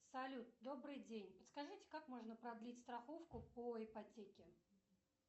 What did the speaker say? салют добрый день подскажите как можно продлить страховку по ипотеке